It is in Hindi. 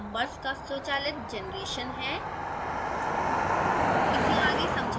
यह section numbers का स्वचालित generation है